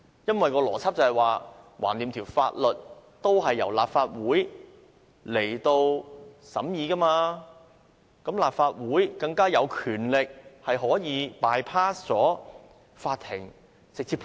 因為當中的邏輯是，反正法例也是由立法會審議，立法會便更加有權力可以 bypass 法庭，可以直接判案。